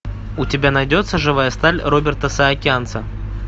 у тебя найдется живая сталь роберта саакянца